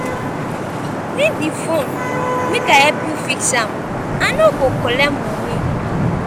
bring di fone make i help you fix am i no go collect moni.